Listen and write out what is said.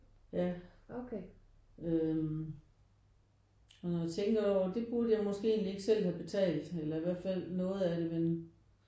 Ja øh men når jeg tænker over det det kunne jeg måske ikke selv have betalt eller i hvert fald noget af det men